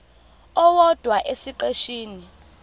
owodwa esiqeshini b